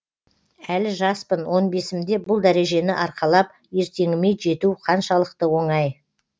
әлі жаспын он бесімде бұл дәрежені арқалап ертеңіме жету қаншалықты оңай